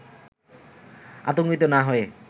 আতঙ্কিত না হয়ে